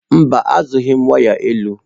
Mba zụghị m waya elu.